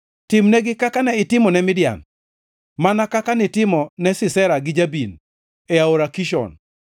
Timnegi kaka ne itimo ne Midian, mana kaka nitimo ne Sisera gi Jabin e Aora Kishon,